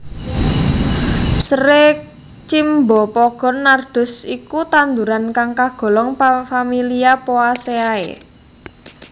Seré Cymbopogon nardus iku tanduran kang kagolong familia Poaceae